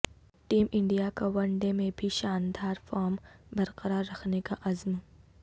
team انڈیاکا one day میں بھی شاندار فارم برقرار رکھنے کا عزم